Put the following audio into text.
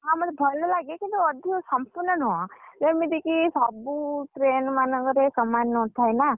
ହଁ ମତେ ଭଲ ଲାଗେ କିନ୍ତୁ ଅଧିକ ସମ୍ପୂର୍ଣ୍ଣ ନୁହଁ, ଯେମିତିକି ସବୁ train ମାନଙ୍କରେ ସମାନ ନଥାଏ ନା,